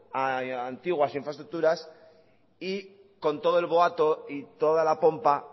a antiguas infraestructuras y con todo el boato y toda la pompa